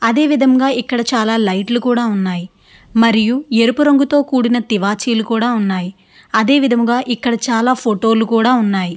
అదే విధంగా ఇక్కడ చాలా లైట్ లు కూడా ఉన్నాయి మరియు ఎరుపు రంగుతో కూడిన తివాచీలు కూడా ఉన్నాయి అదే విధంగా ఇక్కడ చాలా ఫోటో లు కూడా ఉన్నాయి.